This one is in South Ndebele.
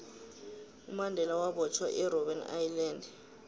umandela wabotjhwa erbben island